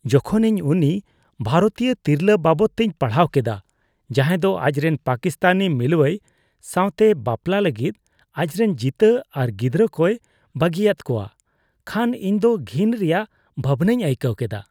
ᱡᱚᱠᱷᱚᱱ ᱤᱧ ᱩᱱᱤ ᱵᱷᱟᱨᱚᱛᱤᱭᱟᱹ ᱛᱤᱨᱞᱟᱹ ᱵᱟᱵᱚᱫ ᱛᱤᱧ ᱯᱟᱲᱦᱟᱣ ᱠᱮᱫᱟ ᱡᱟᱦᱟᱸᱭ ᱫᱚ ᱟᱡᱨᱮᱱ ᱯᱟᱠᱤᱥᱛᱟᱱᱤ ᱢᱤᱞᱩᱣᱟᱹᱭ ᱥᱟᱣᱛᱮ ᱵᱟᱯᱞᱟᱜ ᱞᱟᱹᱜᱤᱫ ᱟᱡᱨᱮᱱ ᱡᱤᱛᱟᱹ ᱟᱨ ᱜᱤᱫᱽᱨᱟᱹ ᱠᱚᱭ ᱵᱟᱹᱜᱤᱭᱟᱫ ᱠᱚᱣᱟ ᱠᱷᱟᱱ ᱤᱧᱫᱚ ᱜᱷᱤᱱ ᱨᱮᱭᱟᱜ ᱵᱷᱟᱵᱱᱟᱧ ᱟᱹᱭᱠᱟᱹᱣ ᱠᱮᱫᱟ ᱾